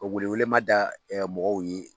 Ka welewelema da mɔgɔw ye